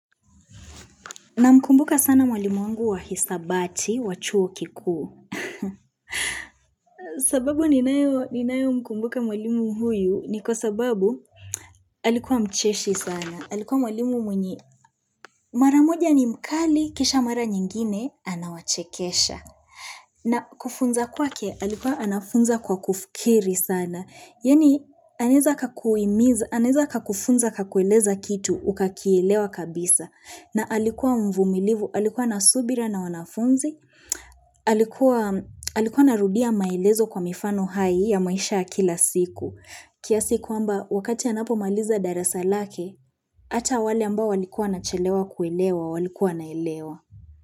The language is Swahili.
Na mkumbuka sana mwalimu wangu wa hisabati, wachuo kikuu. Sababu ninayo mkumbuka mwalimu huyu ni kwa sababu alikuwa mcheshi sana. Alikuwa mwalimu mwenye maramoja ni mkali, kisha mara nyingine, anawachekesha. Na kufunza kwake, alikuwa anafunza kwa kufikiri sana. Yani, aneza kakufunza kakueleza kitu, ukakielewa kabisa. Na alikuwa mvumilivu, alikuwa nasubira na wanafunzi, alikuwa narudia maelezo kwa mifano hai ya maisha kila siku. Kia siku kwamba wakati ya napo maliza darasa lake, hata wale ambao walikuwa nachelewa kuelewa, walikuwa naelewa.